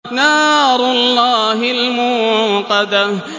نَارُ اللَّهِ الْمُوقَدَةُ